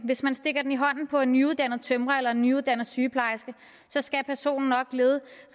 hvis man stikker den i hånden på en nyuddannet tømrer eller en nyuddannet sygeplejerske skal personen nok lede